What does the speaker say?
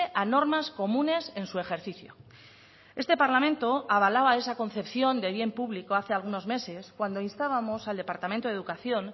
a normas comunes en su ejercicio este parlamento avalaba esa concepción de bien público hace algunos meses cuando instábamos al departamento de educación